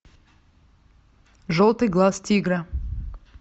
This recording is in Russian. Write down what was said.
желтый глаз тигра